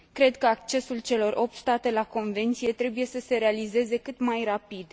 Cred că accesul celor opt state la convenție trebuie să se realizeze cât mai rapid.